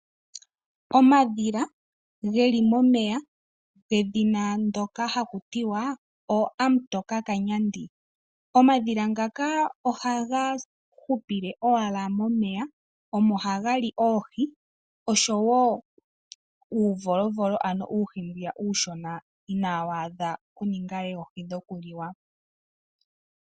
Omadhila geli momeya gedhina ndoka hakutiwa oo amutoka kanyandi, omadhila ngaka ohaga hupile owala momeya omo ha gali oohi oshowo uuvolovolo ano uuhi mbwiya uushona ina waadha okuninga oohi dho kuliwa.